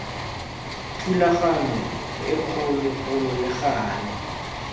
thulaganyo e kgologolo le gale